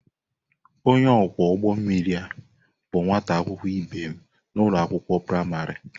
Onye ọkwọ ụgbọ mmiri ahụ bụ nwa akwụkwọ ibe m n'ụlọ akwụkwọ praịmarị.